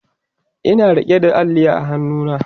Ina rike da Alli a hannuna